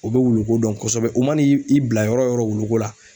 U bɛ wuluko dɔn kɔsɔbɛ u mana i bila yɔrɔ o yɔrɔ wuluko la